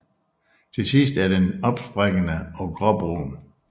Til sidst er den opsprækkende og gråbrun